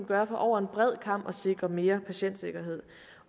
gøre for over en bred kam at sikre mere patientsikkerhed